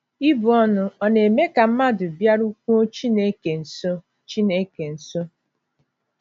Ibu Ọnụ, ọ na - eme Ka Mmadụ Bịarukwuo Chineke Nso Chineke Nso?